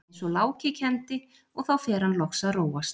eins og Láki kenndi, og þá fer hann loks að róast.